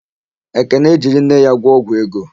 Ekene jiri nne ya gwọ ọgwụ ego.